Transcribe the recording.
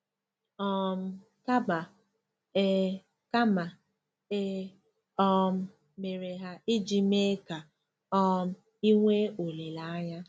um Kama, e Kama, e um mere ha iji mee ka um i nwee olileanya.